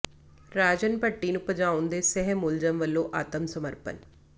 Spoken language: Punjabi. ਰਾਜਨ ਭੱਟੀ ਨੂੰ ਭਜਾਉਣ ਦੇ ਸਹਿ ਮੁਲਜ਼ਮ ਵੱਲੋਂ ਆਤਮ ਸਮਰਪਣ